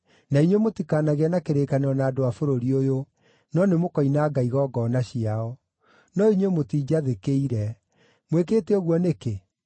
na inyuĩ mũtikanagĩe na kĩrĩkanĩro na andũ a bũrũri ũyũ, no nĩmũkoinanga igongona ciao.’ No inyuĩ mũtiinjathĩkĩire. Mwĩkĩte ũguo nĩkĩ?